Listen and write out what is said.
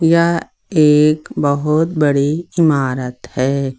यह एक बहुत बड़ी इमारत है।